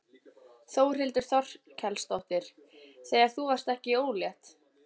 Þórhildur Þorkelsdóttir: Þegar þú varðst ekki ólétt?